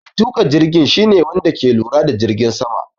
Mai tuka jirgin shi ne Wanda ke lura da jirgin sama.